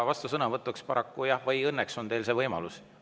Vastusõnavõtuks paraku … või õnneks on teil see võimalus.